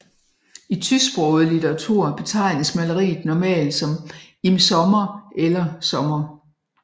I tysksproget litteratur betegnes maleriet normalt som Im Sommer eller Sommer